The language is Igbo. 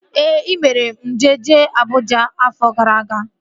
Ee, e mere njem jee Abụja afọ gara aga